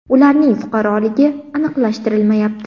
Ularning fuqaroligi aniqlashtirilmayapti.